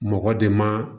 Mɔgɔ de ma